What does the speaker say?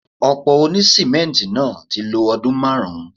Òpó òní sìmẹ́ǹtì náà ti lo ọdún márùn-ún.